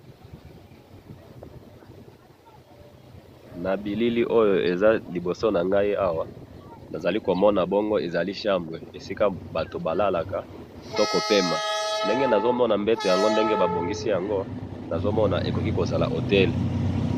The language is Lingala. Awa na moni mbeto, ndenge basali yango, ndako oyo ekoki kozala Hôtel.